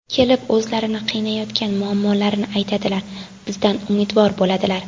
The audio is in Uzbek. Kelib o‘zlarini qiynayotgan muammolarini aytadilar, bizdan umidvor bo‘ladilar.